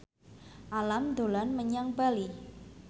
Alam dolan menyang Bali